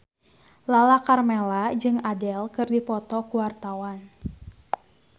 Lala Karmela jeung Adele keur dipoto ku wartawan